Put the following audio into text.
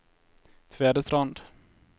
Tvedestrand